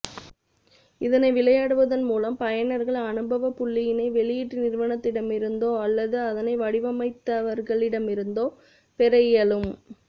இதனை விளையாடுவதன் மூலம் பயனர்கள் அனுபவ புள்ளியினை வெளியீட்டு நிறுவனத்திடமிருந்தோ அல்லது அதனை வடிவமைத்தவர்களிடமிருந்தோ பெற இயலும்